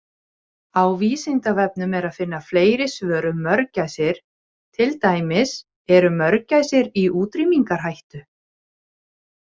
Á Vísindavefnum er að finna fleiri svör um mörgæsir, til dæmis: Eru mörgæsir í útrýmingarhættu?